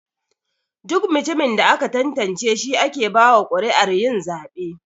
Duk mutumin da aka tantance shi ake bawa kuri'ar yin zabe.